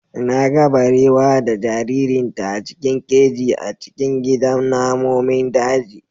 Na ga barewa da jaririnta a cikin keji a cikin gidan namomin daji.